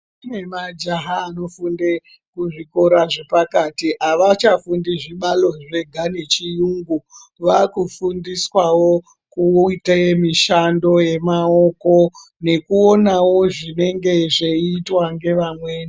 Kune majaha anofunde kuzvikora zvepakati havachafundi zvibalo zvega yechiyungu. Vaakufundiswawo kuite mishando yemaoko. Nekuonawo zvinenge zveiitwa nevamweni.